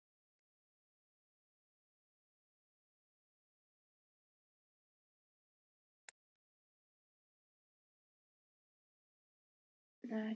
Svo gaf hann tvisvar frá sér snöggt hljóð, eins og afbakaðan hósta.